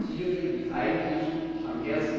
Die Frist hierfür lief eigentlich am